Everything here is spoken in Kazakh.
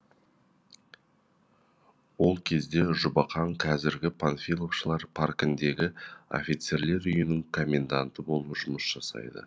ол кезде жұбақаң қазіргі панфиловшылар паркіндегі офицерлер үйінің коменданты болып жұмыс жасайды